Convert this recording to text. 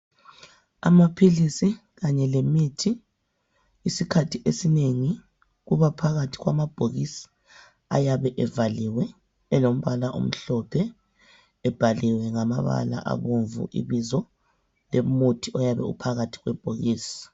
Amaphilisi kanye lemithi. Isikhathi esinengi kubaphakathi kwamabhokisi ayabe evaliwe elombala omhlophe ebhaliwe ngamabala abomvu ibizo lomuthi oyabe uphakathi kwebhokisi.